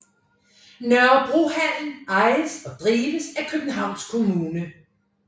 Nørrebrohallen ejes og drives af Københavns Kommune